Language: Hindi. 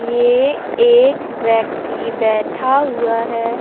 ये एक व्यक्ति बैठा हुआ है।